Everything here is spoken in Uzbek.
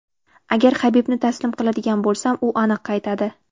Agar Habibni taslim qiladigan bo‘lsam, u aniq qaytadi.